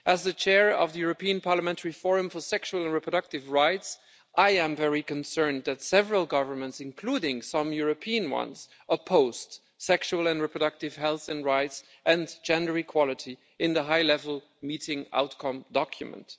As the Chair of the European Parliamentary Forum for Sexual and Reproductive Rights, I am very concerned that several governments, including some European ones, opposed sexual and reproductive health and rights and gender equality in the High-Level Meeting outcome document.